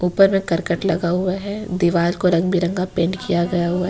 ऊपर में करकट लगा हुआ है दीवार को रंग बिरंगा पेंट किया गया हुआ है।